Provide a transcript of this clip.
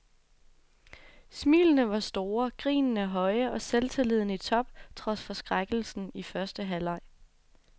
Smilene var store, grinene høje og selvtilliden i top trods forskrækkelsen i første halvleg.